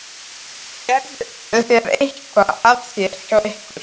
Gerðu þeir eitthvað af sér hjá ykkur líka?